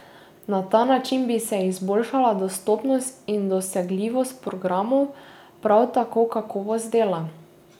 Na ta način bi se izboljšala dostopnost in dosegljivost programov, prav tako kakovost dela.